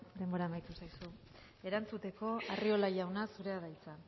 denbora amaitu zaizu erantzuteko arriola jauna zurea da hitza